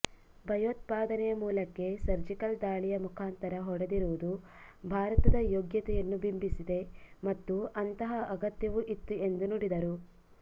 ಭಯೋತ್ಪಾದನೆಯ ಮೂಲಕ್ಕೇ ಸರ್ಜಿಕಲ್ ದಾಳಿಯ ಮುಖಾಂತರ ಹೊಡೆದಿರುವುದು ಭಾರತದ ಯೋಗ್ಯತೆಯನ್ನು ಬಿಂಬಿಸಿದೆ ಮತ್ತು ಅಂತಹ ಅಗತ್ಯವೂ ಇತ್ತು ಎಂದು ನುಡಿದರು